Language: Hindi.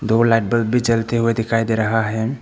दो लाइट बल्ब भी जलते हुए दिखाई दे रहा है।